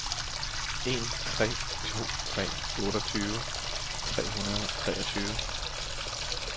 en tre to tre otteogtyve tre hundrede og treogtyve